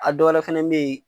A dɔwɛrɛ fɛnɛ be yen